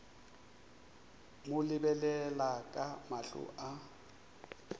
mo lebelela ka mahlo a